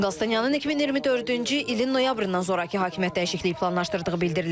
Qalstanyanın 2024-cü ilin noyabrından sonrakı hakimiyyət dəyişikliyi planlaşdırdığı bildirilir.